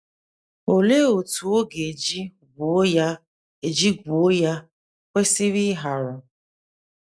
Olee otú oge ọ ga - eji gwuo eji gwuo ya kwesịrị ịharu?